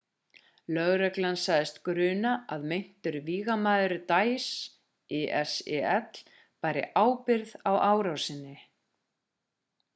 lögreglan sagðist gruna að meintur vígamaður daesh isil bæri ábyrgð á árásinni